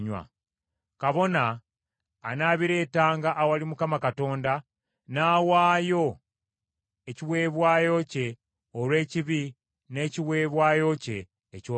“Kabona anaabireetanga awali Mukama Katonda, n’awaayo ekiweebwayo kye olw’ekibi n’ekiweebwayo kye ekyokebwa.